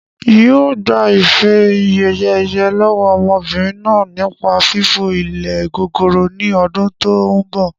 N yii o gbà ife-ẹ̀yẹ̀ ẹyẹ lọ́wọ́ ọmọbìnrin náà nípa fífo ilé gogoro ni ọdún tòun bọ̀